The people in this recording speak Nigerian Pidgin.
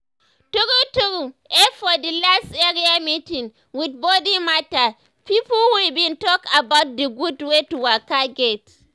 true true eh for the last area meeting with body matter pipo we bin talk about d gud wey to waka get.